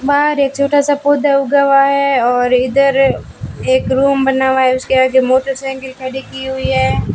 बाहर एक छोटा सा पौधा उगा हुआ है और इधर एक रूम बना हुआ है उसके आगे मोटरसाइकिल खड़ी की हुई है।